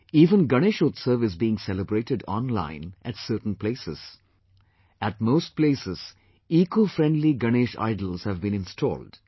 Even Ganeshotsav is being celebrated online at certain places; at most places ecofriendly Ganesh idols have been installed